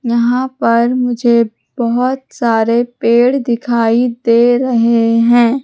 यहां पर मुझे बहोत सारे पेड़ दिखाई दे रहे हैं।